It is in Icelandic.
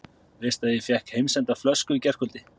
Veistu að ég fékk heimsenda flösku í gærkvöldi?